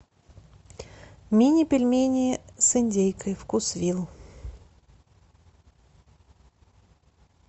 мини пельмени с индейкой вкусвилл